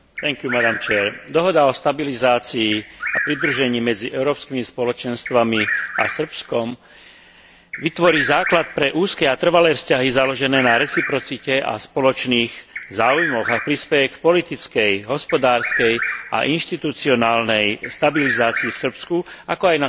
Dohoda o stabilizácii a pridružení medzi európskymi spoločenstvami a Srbskom vytvorí základ pre úzke a trvalé vzťahy založené na reciprocite a spoločných záujmoch a prispeje k politickej, hospodárskej a inštitucionálnej stabilizácii v Srbsku, ako aj na celom Balkáne.